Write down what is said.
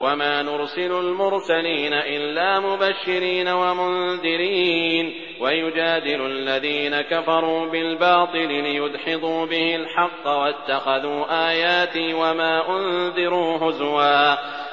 وَمَا نُرْسِلُ الْمُرْسَلِينَ إِلَّا مُبَشِّرِينَ وَمُنذِرِينَ ۚ وَيُجَادِلُ الَّذِينَ كَفَرُوا بِالْبَاطِلِ لِيُدْحِضُوا بِهِ الْحَقَّ ۖ وَاتَّخَذُوا آيَاتِي وَمَا أُنذِرُوا هُزُوًا